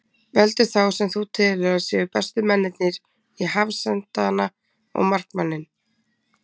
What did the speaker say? Veldu þá sem þú telur að séu bestu mennirnir í hafsentana og markmanninn.